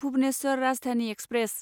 Bhubaneswar Rajdhani express